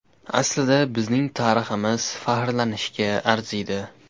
Aslida bizning tariximiz faxrlanishga arziydi.